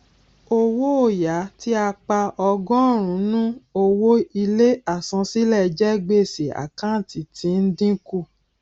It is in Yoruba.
owó òya tí a pa ọgórùnún owó ilé àsansílẹ jẹ gbèsè àkántì tí ń dínkù